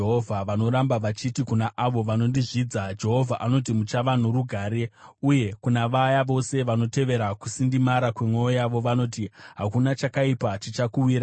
Vanoramba vachiti kuna avo vanondizvidza, ‘Jehovha anoti: Muchava norugare.’ Uye kuna vaya vose vanotevera kusindimara kwemwoyo yavo, vanoti, ‘Hakuna chakaipa chichakuwirai.’